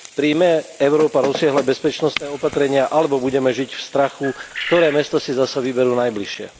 Prijme Európa rozsiahle bezpečnostné opatrenia alebo budeme žiť v strachu, ktoré mesto si zase vyberú najbližšie?